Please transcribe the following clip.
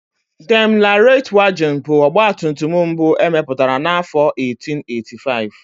Daimler Reitwagen bụ ọgbatumtum mbụ emepụtara n'afọ 1885.